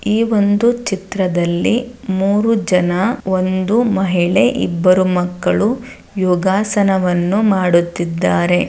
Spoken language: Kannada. ಈ ಒಂದು ಚಿತ್ರದಲ್ಲಿ ಮೂರು ಜನ ಒಂದು ಮಹಿಳೆ ಇಬ್ಬರು ಮಕ್ಕಳು ಯೋಗಾಸನವನ್ನು ಮಾಡುತ್ತಿದ್ದಾರೆ.